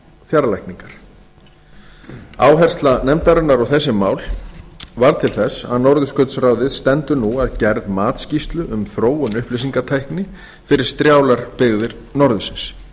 fjarlækningar áhersla nefndarinnar á þessi mál varð til þess að norðurskautsráðið stendur nú að gerð matsskýrslu um þróun upplýsingatækni fyrir strjálar byggðir norðursins